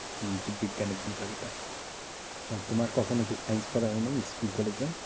হম জীব বিজ্ঞান দুই ভাগ এটা। ও তোমার কখনো কি science পড়া হয় নাই school collage এ?